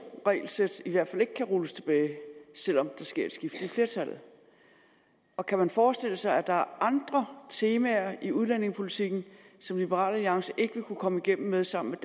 regelsæt i hvert fald ikke kan rulles tilbage selv om der sker et skift i flertallet og kan man forestille sig at der er andre temaer i udlændingepolitikken som liberal alliance ikke vil kunne komme igennem med sammen med